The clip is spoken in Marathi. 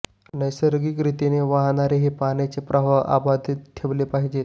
नैसर्गिक रीतीने वाहणारे हे पाण्याचे प्रवाह अबाधित ठेवले पाहिजे